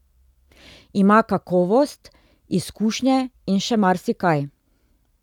Ima kakovost, izkušnje in še marsikaj.